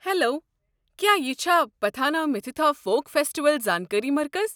Hello, کیٚا یہِ چھا پتھانہ مِتھِتا فوک فیسٹیول زانكٲری مرکز؟